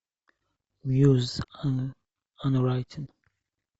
мьюз анрайтинг